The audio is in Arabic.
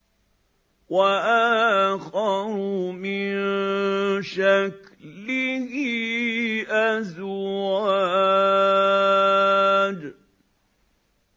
وَآخَرُ مِن شَكْلِهِ أَزْوَاجٌ